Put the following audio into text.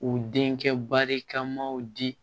U denkɛ barikamaw di